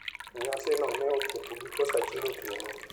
Nyasino ne ochopo giko sa achiel otieno.